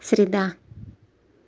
среда